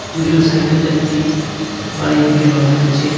দুজন সাইকেল যাত্রী বাড়ির দিকে রওনা দিচ্ছে.